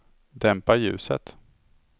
dämpa ljuset